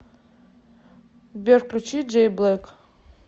сбер включи джей блэк